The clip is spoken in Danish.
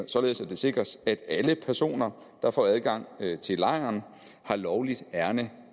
således at det sikres at alle personer der får adgang til lejren har lovligt ærinde